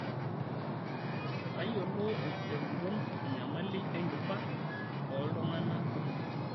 Tayiolo tenguton enyamali enkiba ooltungana kumok.